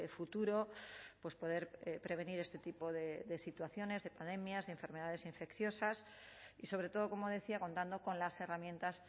futuro pues poder prevenir este tipo de situaciones de pandemias de enfermedades infecciosas y sobre todo como decía contando con las herramientas